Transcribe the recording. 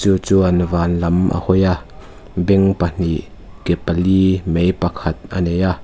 chuan vanlam a hawi a beng pahnih ke pali mei pakhat anei a--